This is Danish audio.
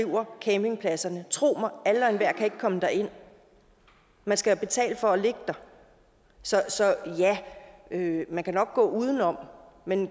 driver campingpladserne tro mig alle og enhver kan ikke komme derind man skal betale for at ligge der så ja man kan nok gå uden om men